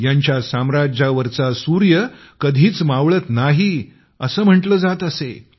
यांच्या साम्राज्यात सूर्य कधीच मावळत नाही असे म्हटले जात असे